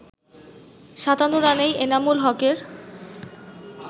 ৫৭ রানেই এনামুল হকের